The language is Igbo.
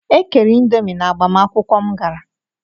E kere indomi n'agbamakwụkwụ m gara.